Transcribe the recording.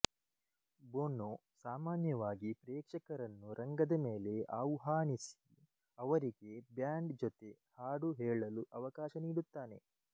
Bono ಸಾಮಾನ್ಯವಾಗಿ ಪ್ರೇಕ್ಷಕರನ್ನು ರಂಗದ ಮೇಲೆ ಆವ್ಹಾನಿಸಿ ಅವರಿಗೆ ಬ್ಯಾಂಡ್ ಜೊತೆ ಹಾಡು ಹೇಳಲು ಅವಕಾಶ ನೀಡುತ್ತಾನೆ